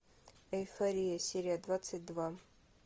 эйфория серия двадцать два